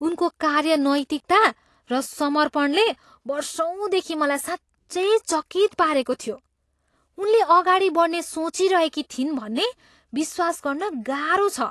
उनको कार्य नैतिकता र समर्पणले वर्षौँदेखि मलाई साँच्चै चकित पारेको थियो, उनले अगाडि बढ्ने सोचिरहेकी थिइन् भन्ने विश्वास गर्न गाह्रो छ।